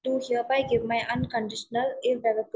to hereby give my unconditional‍ is ever‍ to